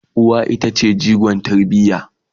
uwa ita ce jigon tarbiya